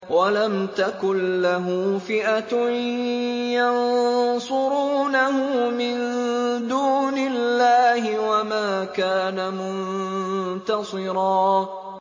وَلَمْ تَكُن لَّهُ فِئَةٌ يَنصُرُونَهُ مِن دُونِ اللَّهِ وَمَا كَانَ مُنتَصِرًا